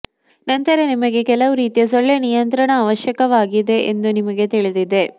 ನಂತರ ನಿಮಗೆ ಕೆಲವು ರೀತಿಯ ಸೊಳ್ಳೆ ನಿಯಂತ್ರಣ ಅವಶ್ಯಕವಾಗಿದೆ ಎಂದು ನಿಮಗೆ ತಿಳಿದಿದೆ